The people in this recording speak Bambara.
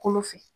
Kolo fɛ